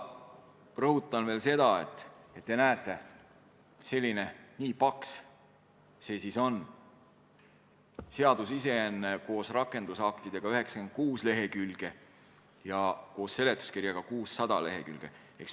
Rõhutan veel seda, et nagu te näete, nii paks see eelnõu siis on: seadus ise koos rakendusaktidega on 96 lehekülge ja koos seletuskirjaga 600 lehekülge.